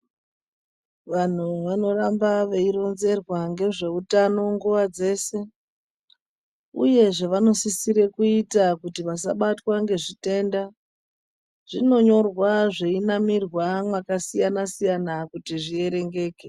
Vantu vanoramba veironzerwa ngezveutano nguwa dzeshe uyezve vanosisira kuita kuti vasabatwa ngezitenda zvinonyorwa zvinamirwa makasiyana kuti zvierengeke .